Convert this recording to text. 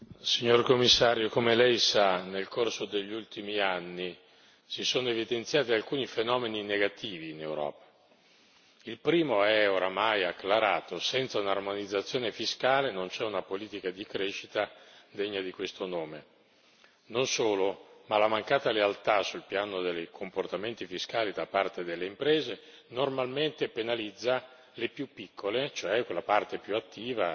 Signor Presidente, onorevoli colleghi, signor Commissario, come Lei sa, nel corso degli ultimi anni si sono evidenziati alcuni fenomeni negativi in Europa. Il primo è oramai acclarato, senza un'armonizzazione fiscale non c'è una politica di crescita degna di questo nome. Non solo, ma la mancata lealtà sul piano dei comportamenti fiscali da parte delle imprese normalmente penalizza le più piccole, cioè quella parte più attiva